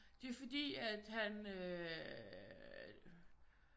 Det er fordi at han øh